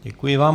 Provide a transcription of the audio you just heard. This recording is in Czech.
Děkuji vám.